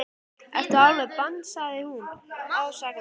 Ertu alveg band sagði hún ásakandi.